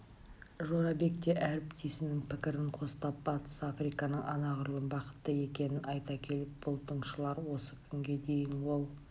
жорабек те әріптесінің пікірін қостап батыс африканың анағұрлым бақытты екенін айта келіп бұл тыңшылар осы күнге дейін ол